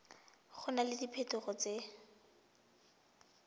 go na le diphetogo tse